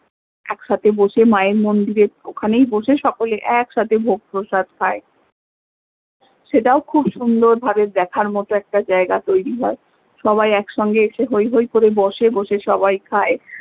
এক সাথে বসে মা এর মন্দিরে ওখানেই বসে সকলে এক সাথে ভোগ প্রসাদ খায় সেটাও খুব সুন্দর ভাবে দেখার মতো জায়গা তৈরী হয়ে সবাই এক সঙ্গে এসে হৈ হৈ করে বসে বসে সবাই খায়